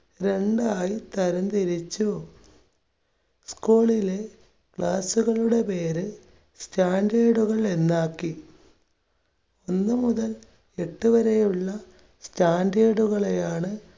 രണ്ടായി തരംതിരിച്ചു. school ളിലെ class കളുടെ പേര് standard കൾ എന്നാക്കി ഒന്ന് മുതൽ എട്ട് വരെയുള്ള standard കളെയാണ്